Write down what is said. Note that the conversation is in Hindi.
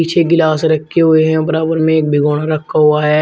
छे गिलास रखे हुए है बराबर में एक भिगोना रखा हुआ है।